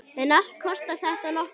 En allt kostar þetta nokkuð.